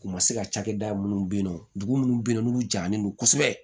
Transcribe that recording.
U ma se ka cakɛda minnu be yen nɔ dugu munnu be yen nɔ n'u janlen don kosɛbɛ